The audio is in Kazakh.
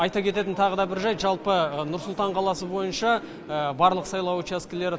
айта кететін тағы да бір жайт жалпы нұр сұлтан қаласы бойынша барлық сайлау учаскелері